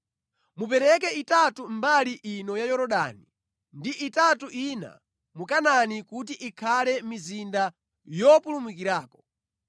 Mupereke itatu mbali ino ya Yorodani ndi itatu ina mu Kanaani kuti ikhale mizinda yopulumukirako.